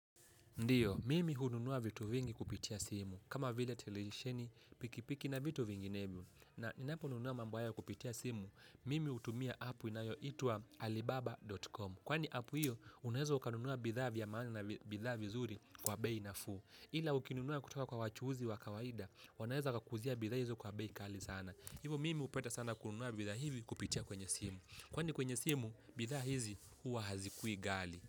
Ndiyo, mimi hununua vitu vingi kupitia simu. Kama vile televisheni, pikipiki na vitu vinginevyo. Na ninaponunua mambo haya kupitia simu, mimi hutumia apu inayoitwa alibaba.com. Kwani apu hiyo, unaweza ukanunua bidhaa vya maana na bidhaa vizuri kwa bei nafuu. Ila ukinunua kutoka kwa wachuuzi wa kawaida, wanaeza wakakuuzia bidhaa hizo kwa bei kali sana. Hivo mimi upenda sana kununua bidhaa hivi kupitia kwenye simu. Kwani kwenye simu, bidhaa hizi huwa hazikui ghali.